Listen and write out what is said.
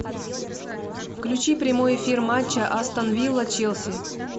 включи прямой эфир матча астон вилла челси